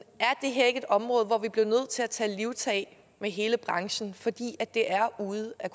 er det her ikke et område hvor vi bliver nødt til at tage livtag med hele branchen fordi det er ude af